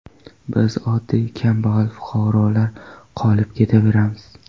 Biz oddiy kambag‘al fuqarolar qolib ketaveramiz.